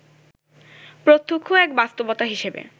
প্রত্যক্ষ এক বাস্তবতা হিসেবে